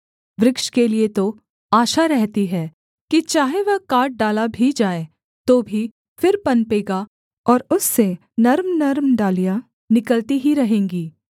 वृक्ष के लिये तो आशा रहती है कि चाहे वह काट डाला भी जाए तो भी फिर पनपेगा और उससे नर्मनर्म डालियाँ निकलती ही रहेंगी